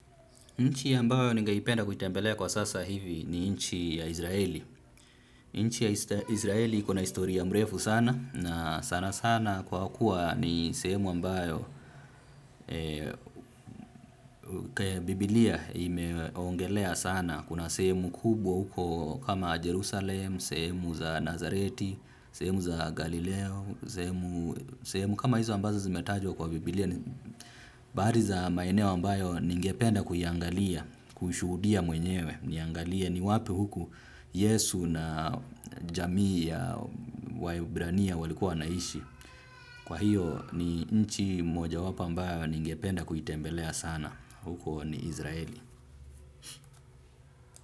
Nchi ambayo ningeipenda kuitembelea kwa sasa hivi ni nchi ya Israeli. Nchi ya israeli iko na historia mrefu sana na sana sana kwa kuwa ni sehemu ambayo Bibilia imeongelea sana. Kuna sehemu kubwa huko kama Jerusalem, sehemu za Nazareti, sehemu za Galileo, sehemu kama hizo ambazo zimetajwa kwa bibilia. Bahari za maeneo ambayo ningependa kuiangalia kushuhudia mwenyewe niangalie ni wapi huku yesu na jamii ya waibrania walikuwa wanaishi kwa hiyo ni nchi moja wapo ambayo ningependa kuitembelea sana huko israeli.